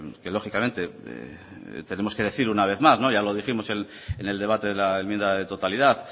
que lógicamente tenemos que decir una vez más ya lo dijimos en el debate de la enmienda de totalidad